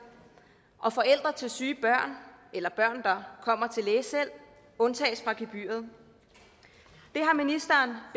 og forældre til syge børn eller børn der kommer til lægen selv undtages fra gebyret ministeren